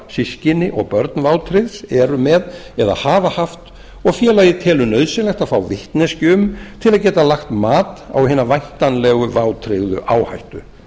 systkini og börn vátryggðs eru með eða hafa haft og félagið telur nauðsynlegt að fá vitneskju um til að geta lagt mat á hina væntanlegu vátryggðu áhættu